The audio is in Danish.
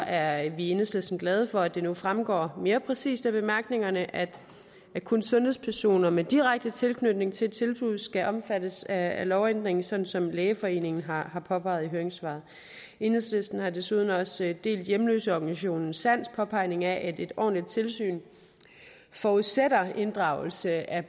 er vi i enhedslisten glade for at det nu fremgår mere præcist af bemærkningerne at kun sundhedspersoner med direkte tilknytning til tilbuddet skal omfattes af lovændringen sådan som lægeforeningen har påpeget i høringssvaret enhedslisten har desuden også delt hjemløseorganisationen sands påpegning af at et ordentligt tilsyn forudsætter inddragelse af